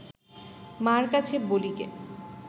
মা’র কাছে বলিগে